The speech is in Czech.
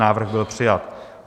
Návrh byl přijat.